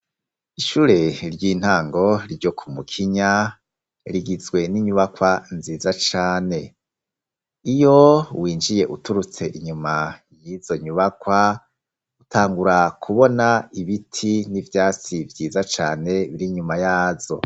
Ishure ry'intango ryo Kumukinya rigizwe n'inyubakwa nziza cane. Iyo winjiye uturutse inyuma y'izo nyubakwa, utangura kubona ibiti n'ivyatsi vyiza cane biri inyuma yazo.